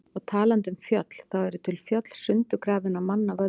Og talandi um fjöll, þá eru til fjöll sundurgrafin af manna völdum.